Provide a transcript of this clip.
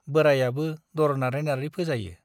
बोराइयाबो दर नारै नारै फोजायो ।